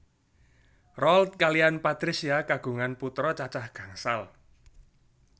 Roald kaliyan Patricia kagungan putra cacah gangsal